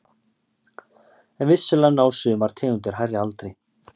en vissulega ná sumar tegundir hærri aldri